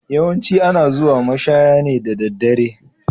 Yawancin ana zuwa mashaya ne da daddare.